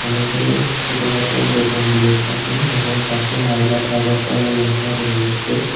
অনেকে ছোটখাতো দোকান দিয়ে থাকে এবং পাশে আই লাভ আগরতলা লেখা রয়েছে।